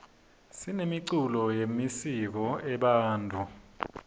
sinemiculo yemisiko ebantfu